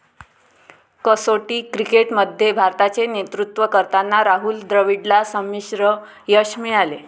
कसोटी क्रिकेट मध्ये भारताचे नेतृत्व करताना राहुल द्रविडला संमिश्र यश मिळाले.